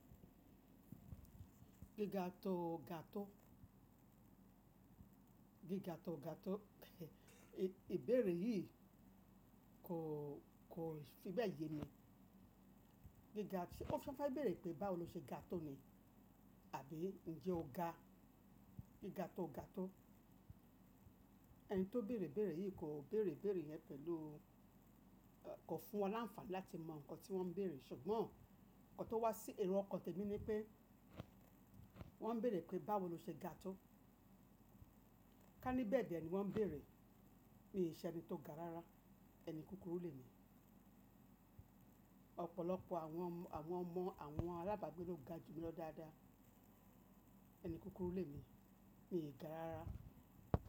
Gíga tó ga tó. Giga to ga to. Ìbéèrè yìí kò, kò fi bẹ́ẹ̀ ye mi. Giga ti-- ó— ṣó fẹ́ béèrè pé báwo lo ṣe ga tó ni? Àbí ńjẹ́ o ga? Giga tó o ga tó. Ẹni tó béèrè béèrè yìí kò béèrè béèrè rẹ̀ pẹ̀lú, —kò fún wọn láǹfààní láti mọ nǹkan tí wọ́n ń béèrè. Ṣùgbọ́n nǹkan tó wá sí— èrò ọkàn tèmi ni pé wọ́n ń béèrè pé báwo lo ṣe ga tó. Ká ní bẹ́ẹ̀ dẹ̀ ni wọ́n ń béèrè, mi ò ṣe ẹni tó ga rárá. Ẹni kúkúrú lè mi. Ọ̀pọ̀lọpọ̀ àwọn ọmọ, àwọn ọmọ, àwọn alábàágbé ló ga jù mi lọ dáadáa. Ẹni kúkúrú lè mi, mi ò ga rárá.